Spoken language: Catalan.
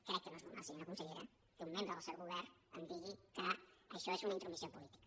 crec que no és normal senyora consellera que un membre del seu govern em digui que això és una intromissió política